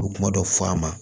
U bɛ kuma dɔ fɔ a ma